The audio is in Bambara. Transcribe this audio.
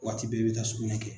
Waati bɛɛ i bɛ taa sugunɛ kɛ.